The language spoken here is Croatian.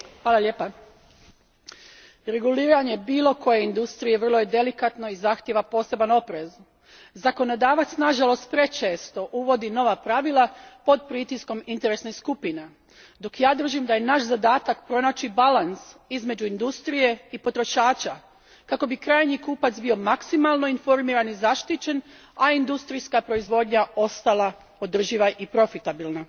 Gospodine predsjedniče, reguliranje bilo koje industrije vrlo je delikatno i zahtjeva poseban oprez. Zakonodavac nažalost, prečesto uvodi nova pravila pod pritiskom interesnih skupina, dok ja držim da je naš zadatak pronaći balans između industrije i potrošača kako bi krajnji kupac bio maksimalno informiran i zaštićen, a industrijska proizvodnja ostala održiva i profitabilna.